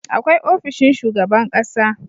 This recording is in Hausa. Akwai ofishin shugaban ƙasa